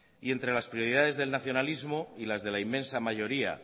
y entre las prioridades del nacionalismo y las de la inmensa mayoría